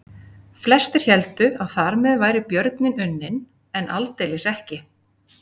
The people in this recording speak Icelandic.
Flestir héldu að þar með væri björninn unninn en aldeilis ekki.